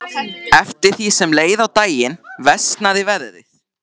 Eftir því sem leið á daginn versnaði veðrið.